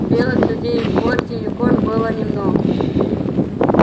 белых людей в форте юкон было немного